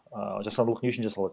ааа жасандылық не үшін жасалады